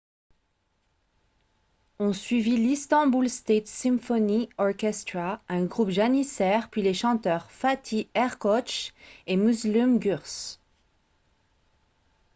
ont suivi l'istanbul state symphony orchestra un groupe janissaire puis les chanteurs fatih erkoç et müslüm gürses